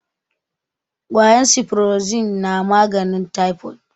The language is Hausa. kwayan siforozin na maganin taifod